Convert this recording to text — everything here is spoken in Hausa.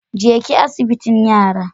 Jeki asibitin yara.